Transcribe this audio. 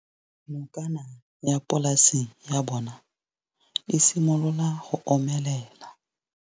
Nokana ya polase ya bona, e simolola go omelela.